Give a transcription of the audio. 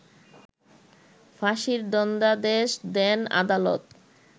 ফাঁসির দণ্ডাদেশ দেন আদালত